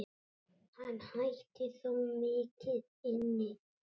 Hann ætti þó mikið inni.